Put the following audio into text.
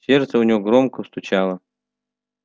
сердце у него громко стучало